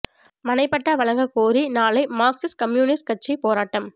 மனை பட்டா வழங்கக் கோரி நாளை மாா்க்சிஸ்ட் கம்யூனிஸ்ட் கட்சி போராட்டம்